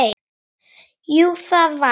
Jú, það var Guð.